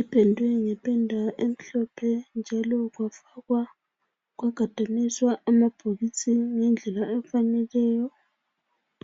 ipendwe ngependa emhlophe njalo kwafakwa kwagadaniswa amabhokisi ngendlela efaneleyo